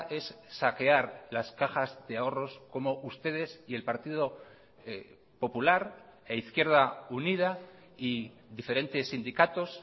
es saquear las cajas de ahorros como ustedes y el partido popular e izquierda unida y diferentes sindicatos